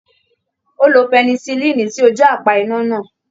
Ó lo pẹnisilínì sí ojú apá iná náà.